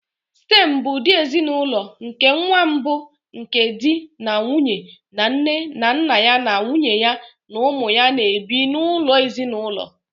Stem bụ ụdị ezinụlọ nke nwa mbụ nke di na nwunye na nne na nna ya na nwunye ya na ụmụ ya na-ebi n'ụlọ ezinụlọ.